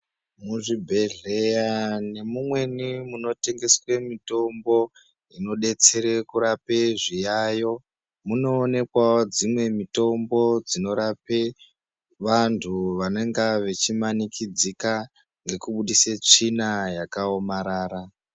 Muzvibhedhleya nemumweni munotengeswe mitombo inodetsere kurape zviyayiyo munoonekwawo dzimwe mitombo dzinorape vandu vanenge vachimanikidzika nokubuditse tsvina yakaomarara.